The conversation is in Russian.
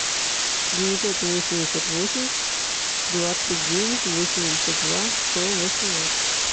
девятьсот восемьдесят восемь двадцать девять восемьдесят два сто восемнадцать